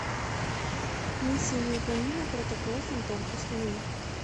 миссия невыполнима протокол фантом установи